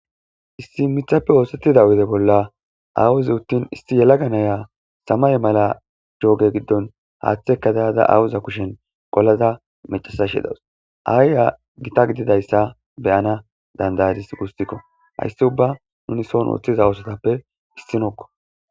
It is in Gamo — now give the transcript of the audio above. Issi mithappe oosettida uude bolla awuze uttin issi yelaga naya samay mala jooge giddon haaththeka dayada awuza kushen qolada macasashe dawus aayya gita gididayssa beyana dandayadis gustikko hayssi ubba nuni soon woththiza oosatappe issinokko